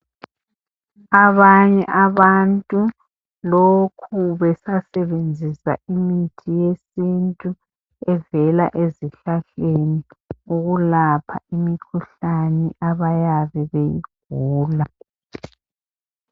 Abanye abantu lokhu besasebenzisa imithi yesintu evela ezihlahleni ukulapha imikhuhlane abayabe beyigula.